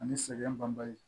Ani sɛgɛn banbali